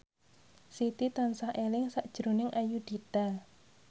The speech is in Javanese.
Siti tansah eling sakjroning Ayudhita